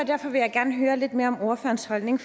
derfor vil jeg gerne høre lidt mere om ordførerens holdning